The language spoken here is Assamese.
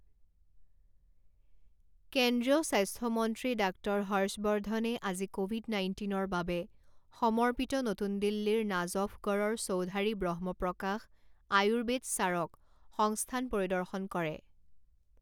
কেন্দ্ৰীয় স্বা্স্থ্য মন্ত্ৰী ডাক্টৰ হৰ্ষবৰ্ধনে আজি ক'ভিড নাইণ্টিনৰ বাবে সমৰ্পিত নতুন দিল্লীৰ নাজফগড়ৰ চৌধাৰী ব্ৰহ্মপ্ৰকাশ আয়ুৰ্বেদ চাৰক সংস্থান পৰিদৰ্শন কৰে।